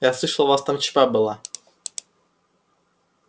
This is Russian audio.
я слышал у вас там чп было